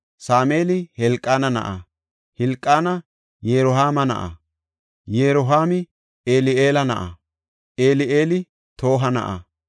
Sameeli Helqaana na7aa; Hilqaani Yirohaama na7a; Yirohaami Eli7eela na7a; Eli7eeli Toha na7a;